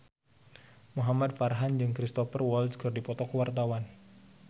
Muhamad Farhan jeung Cristhoper Waltz keur dipoto ku wartawan